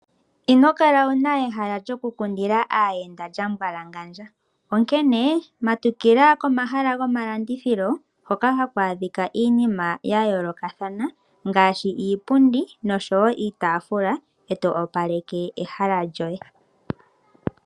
Ino kala wuna ehala lyokukundila aayenda lya mbwalangandja. Onkene matukila komahala gomalandithilo hoka haku adhika iinima ya yoolokathana ngaashi iipundi noshowo iitafula. E to opaleke ehala lyoye.